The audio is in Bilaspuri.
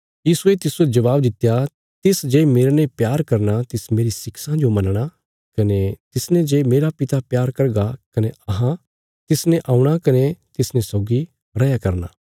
यीशुये तिस्सो जबाब दित्या तिसजे मेरने प्यार करना तिस मेरी शिक्षां जो मनणा कने तिसने जे मेरा पिता प्यार करगा कने अहां तिसले औणा कने तिसने सौगी रैया करना